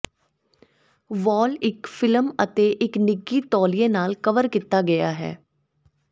ਵਾਲ ਇੱਕ ਫਿਲਮ ਅਤੇ ਇੱਕ ਨਿੱਘੀ ਤੌਲੀਏ ਨਾਲ ਕਵਰ ਕੀਤਾ ਗਿਆ ਹੈ